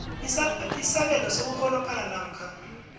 isabelo sokurholophala namkha